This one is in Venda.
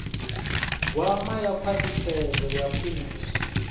gwama ḽa khwaṱhisedzo ya phiriso